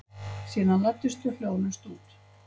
Síðan læddust þau hljóðlaust út.